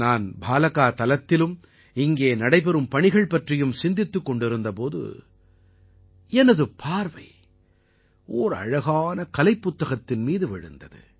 நான் பாலகா தலத்திலும் இங்கே நடைபெறும் பணிகள் பற்றியும் சிந்தித்துக் கொண்டிருந்த போது எனது பார்வை ஓர் அழகான கலைப் புத்தகத்தின் மீது விழுந்தது